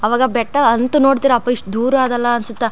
ಆವಾಗ್ ಬೆಟ್ಟ ಅಂತ್ ನೋಡತಿರ್ ಅಪಾ ಎಷ್ಟು ದೂರ್ ಅದಲ್ಲ ಅನ್ನಸುತ್ತ .